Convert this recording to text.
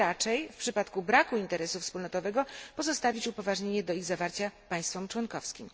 Czy raczej, w przypadku braku interesu wspólnotowego, pozostawić upoważnienie do ich zawarcia państwom członkowskim?